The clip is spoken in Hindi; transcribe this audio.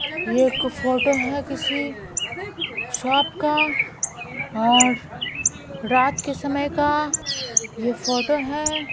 ये एक फोटो है किसी शॉप का और रात के समय का यह फोटो है।